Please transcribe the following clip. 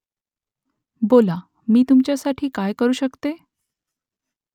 बोला . मी तुमच्यासाठी काय करू शकते ?